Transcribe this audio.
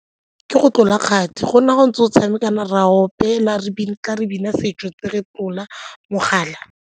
Ke go tlola kgati, go nna ntse o tshameka ra opela re bina, re bina setso ntse re tlola mogala.